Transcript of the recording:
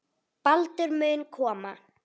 Baldur mun koma.